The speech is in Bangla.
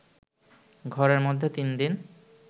ঘরের মধ্যে ৩দিন